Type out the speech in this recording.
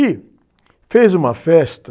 E fez uma festa...